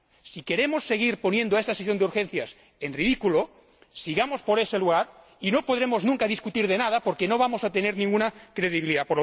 Si queremos seguir poniendo esta sesión de debate en ridículo, sigamos por ese camino y no podremos discutir nunca de nada porque no vamos a tener ninguna credibilidad.